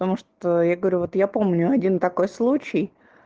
потому что я говорю вот я помню один такой случай